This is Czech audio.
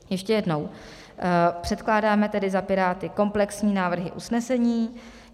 Ještě jednou, předkládáme tedy za Piráty komplexní návrh usnesení.